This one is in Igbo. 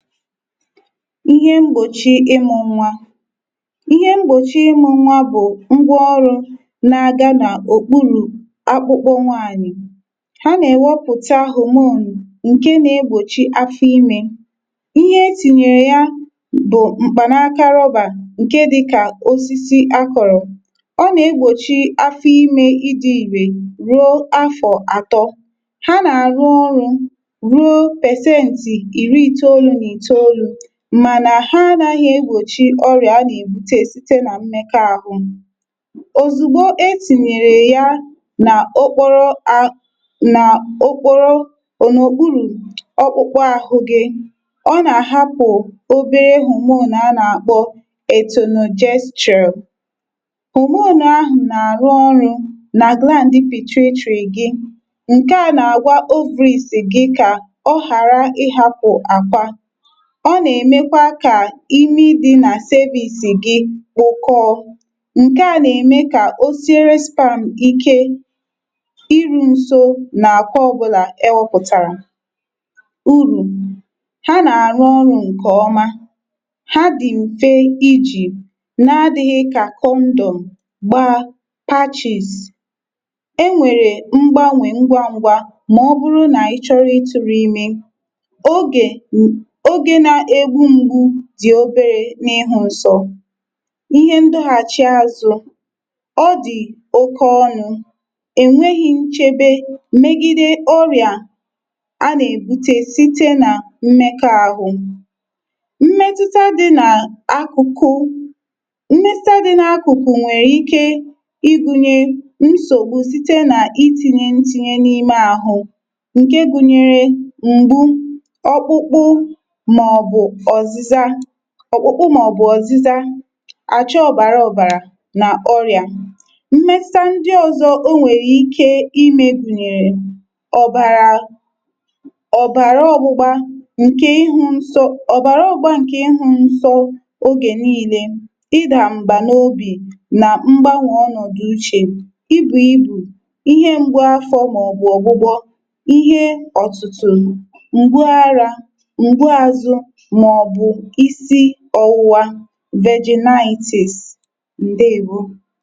Ihe mgbochi ịmụ̇ nwȧ. Ihe mgbochi ịmụ̇ nwȧ bụ̀ ngwaọrụ̇ na-aga n’òkpuru̇ akpụkpọ nwaanyị̀. Ha na-ewepụta hormone ǹke na-egbȯchi afọ imė. Ihe etìnyèrè ya bụ̀ mkpanaaka rọbà ǹke dịkà osisi akọ̀rọ̀. Ọ na-egbȯchi afọ imė ịdị̇ ìrè ruo afọ̀ atọ̀. Ha nà arụ ọrụ ruo pesenti iri itolu na itolu, ma na ha anaghi egbòchi orìà a nà èbute site nà mmẹkwa ahụ̇. Ozùgbo etìnyèrè ya nà okporo a na okporo ònòkpuru ọkpụkpọ ahụ gị, ọ nà àhapụ̀ obere hormone anà àkpọ etunojetral. Hormone, ahụ nà àrụ ọrụ̇ nà gland pituitary gị, ǹke à nà àgwa ovaries gi̇ kà ọ ghàra ị hapụ̀ àkwa. Ọ nà-èmekwa kà imi dì nà cervic gị kpokọọ. Ṅke à nà-ème kà o sire sperm ike iru̇ nso nà àkwa ògbola ewȯpùtàrà. Urù: ha nà-àrụ ọrụ̇ ǹkè ọma, ha dì m̀fe iji̇ na-adị̇ghị̇ kà kondòm gbaa batchìs, e nwèrè mgbanwè ngwa ngwa mà ọ bụrụ nà ị chọrọ ịtụ̇rụ imė. Oge, oge na-egbungbu dì oberė n’ịhụ̇ nsọ̇. Ihe ndoghàchìe azụ̇; ọ dì oke ọnụ̇, ènweghi̇ nchebe mmegide ọrìà a nà-èbute site nà mmekọ ahụ̇. Mmetuta dị n’akụkụ mmetuta dị n’akụkụ̀ nwèrè ike ịgụ̇nyė nsògbu site nà iti̇nyė ntìnyė n’ime àhụ ǹke gụ̇nyere; m̀gbu, ọ̀kpụkpụ, mà ọ̀bụ̀ ọ̀zịza, ọ̀kpụkpụ mà ọ̀bụ̀ ọ̀zịza, àcha ọ̀bàrà ọ̀bàrà nà ọrị̀à. Mmetuta ndi ọ̀zọ o nwèrè ike imė gùnyèrè; ọ̀bàrà, ọ̀bàrà ọ̀bụ̀gbȧ ǹkè ihu̇ nso, ọ̀bàrà ọ̀bụ̀gbȧ ǹkè ihu̇ nso ogè nii̇lė, ịdà m̀bà n’obì nà mgbanwè ọnọ̀ dị uchè, ibu̇ ibù, ihe ṅgbu àfọ̇ mà ọ̀bụ̀ ọ̀gbụgbọ, ihe ọ̀tụtụ̀, m̀gbuara, m̀gbuazu mà ọ̀bụ̀ ịsị ọwụwa, virginitis, Ndeèwo.